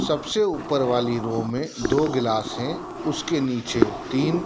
सबसे ऊपर वाली रो में दो गिलास हैं उसके नीचे तीन--